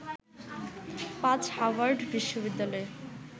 পাজ Harvard বিশ্ববিদ্যালয়ে